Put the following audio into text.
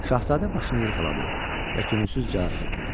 Şahzadə başını yellədi və könülsüz cavab verdi: